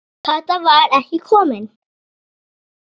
Kata var ekki komin.